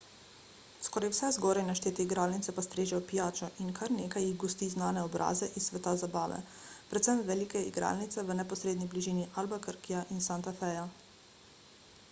skoraj vse zgoraj naštete igralnice pa strežejo pijačo in kar nekaj jih gosti znane obraze iz sveta zabave predvsem velike igralnice v neposredni bližini albuquerqueja in santa feja